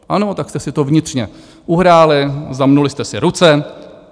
Ano, tak jste si to vnitřně uhráli, zamnuli jste si ruce.